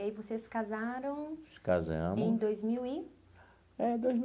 E aí vocês se casaram... Se casamos. Em dois mil e? É, dois mil